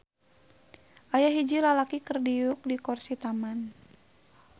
Aya hiji lalaki keur diuk di korsi taman.